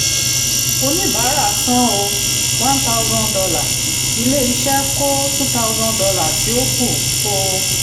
oníbàárà san um one thousand dollar ilé-iṣẹ́ kó two thousand dollar tí ó kù um